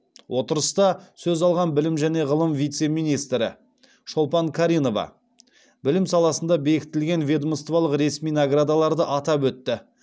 отырыста сөз алған білім және ғылым вице министрі шолпан қаринова білім саласында бекітілген ведомстволық ресми наградаларды атап өтті